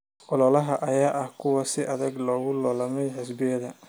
Ololahan ayaa ahaa kuwo si adag loogu loolamay xisbiyada.